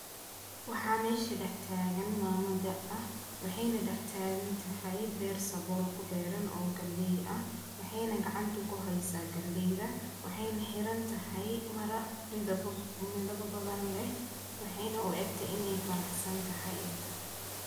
Waxa mesha daxtagan mama daa ah, waxayna daxtagantaxay beer sabool kuberan o w galeey ah, waxayna gacanta kuxaysa galeeyda, waxayna xirantaxay maroon bidaba badan leh, waxayna u ekte inay faraxsantaxay.